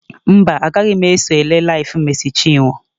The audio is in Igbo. Mba, agaghị m eso ele LIVE Mercy Chinwo.